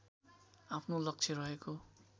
आफ्नो लक्ष्य रहेको